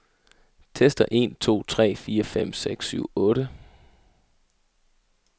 Tester en to tre fire fem seks syv otte.